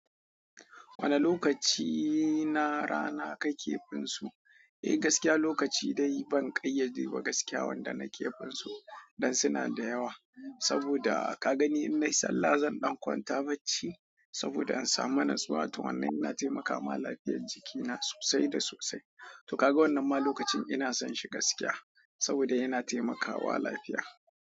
Wane lokaci na rana ka ke finsu? Eh gaskiya lokaci dai ban ƙayyade ba gaskiya wanda na ke finsu, dan suna da yawa. Saboda ka gani in na yi sallah zan ɗan kwanta bacci, saboda in samu natsuwa to wannan yana taimakawa lafiyar jikina sosai da sosai. To ka ga wannan ma lokacin ina son shi gaskiya saboda yana taimakawa lafiya.